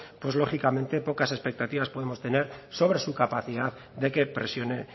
pues lógicamente pocas expectativas podemos tener sobre su capacidad de que presione